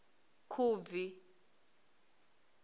khubvi